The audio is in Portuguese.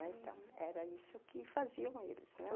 Então, era isso que faziam eles, né?